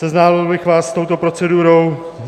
Seznámil bych vás s touto procedurou.